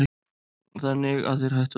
Þannig að þeir hættu allir.